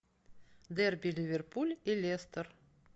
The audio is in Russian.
дерби ливерпуль и лестер